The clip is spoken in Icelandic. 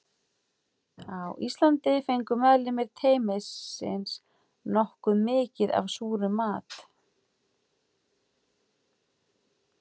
Á Íslandi fengu meðlimir teymisins nokkuð mikið af súrum mat.